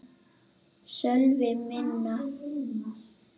Sölvi: Minna?